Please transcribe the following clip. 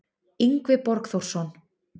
Yngvi Borgþórsson